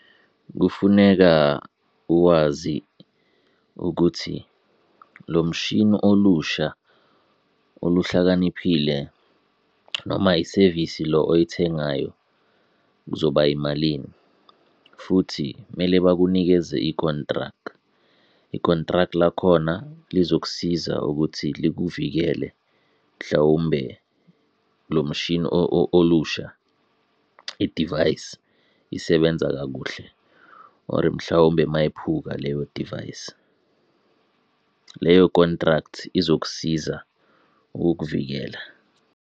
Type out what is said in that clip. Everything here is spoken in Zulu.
Kufuneka uwazi ukuthi lo mshini olusha oluhlakaniphile noma isevisi lo oyithengayo kuzoba yimalini, futhi kumele bakunikeze i-contract. I-contract lakhona lizokusiza ukuthi likuvikele, mhlawumbe lo mshini olusha, idivayisi isebenza kakuhle, or mhlawumbe mayiphuka leyo device, leyo contract izokusiza ukukuvikela.